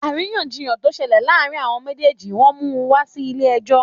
Àríyànjiyàn to ṣẹlẹ̀ láàárín àwọn méjèjì wọn mú wa Si ilé ẹjọ́